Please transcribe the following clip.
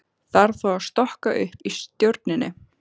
Þarf þá að stokka upp í stjórninni?